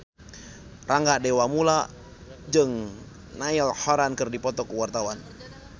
Rangga Dewamoela jeung Niall Horran keur dipoto ku wartawan